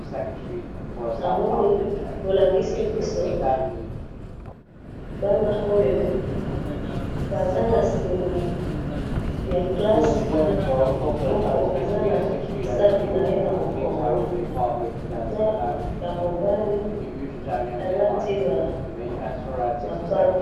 namoni bolakisi biso mwana oyo baza na sima ya class moko aza na sac naye na mokongo naya mobali balati ba mapapa